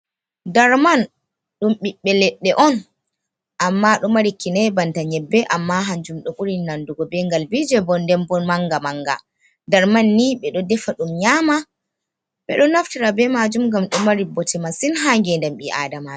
Ɗar man, ɗum biɓbe leɗɗe on. Amma ɗo mari kinai banta nyebbe. Amma hanjum ɗo burin nanɗugo be ngalbije, bo nɗen bon manga manga. Dar man ni be ɗo defa ɗum nyama ɓe ɗo naftira be majum ngam ɗo mari bote masin ha ngenɗam bi'a Aɗama.